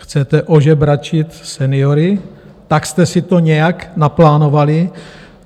Chcete ožebračit seniory, tak jste si to nějak naplánovali?